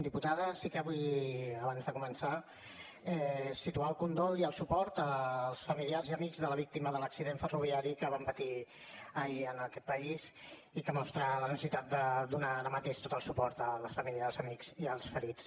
diputada sí que vull abans de començar situar el condol i el suport als familiars i amics de la víctima de l’accident ferroviari que vam patir ahir en aquest país i que mostra la necessitat de donar ara mateix tot el suport a la família als amics i als ferits